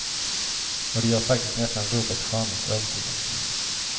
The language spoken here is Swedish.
Och det gör faktiskt nästan rubbet charmigt övertygande.